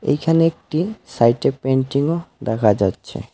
এখানে একটি সাইটে পেন্টিংও দেখা যাচ্ছে।